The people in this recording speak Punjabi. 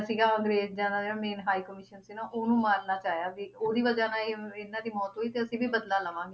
ਸੀਗਾ ਅੰਗਰੇਜਾਂ ਦਾ ਜਿਹੜਾ main high commission ਸੀ ਨਾ ਉਹਨੂੰ ਮਾਰਨਾ ਚਾਹਿਆ ਸੀ, ਉਹਦੀ ਵਜ੍ਹਾ ਨਾਲ ਇਹ ਇਹਨਾਂ ਦੀ ਮੌਤ ਤੇ ਅਸੀਂ ਵੀ ਬਦਲਾ ਲਵਾਂਗੇ।